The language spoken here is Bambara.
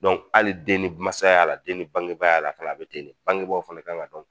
hali den ni masaya la den ni bangebaya a la, fana a bi ten den, bangebaw fana ka kan dɔn